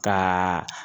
Ka